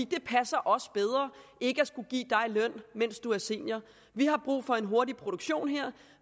det passer os bedre ikke at skulle give dig løn mens du er senior vi har brug for en hurtig produktion her